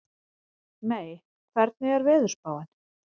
Mey, hvernig er veðurspáin?